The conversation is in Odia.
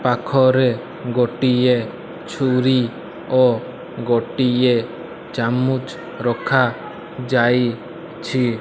ପାଖରେ ଗୋଟିଏ ଛୁରୀ ଓ ଗୋଟିଏ ଚାମୁଚ୍ ରଖାଯାଇଛି।